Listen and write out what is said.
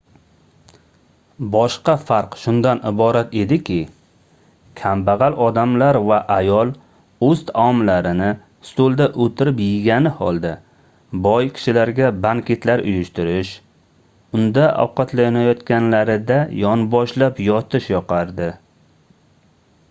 boshqa farq shundan iborat ediki kambagʻal odamlar va ayol oʻz taomlarini stulda oʻtirib yegani holda boy kishilarga banketlar uyushtirish unda ovqatlanayotganlarida yonboshlab yotish yoqardi